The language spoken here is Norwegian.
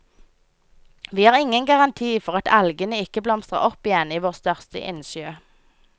Vi har ingen garanti for at algene ikke blomstrer opp igjen i vår største innsjø.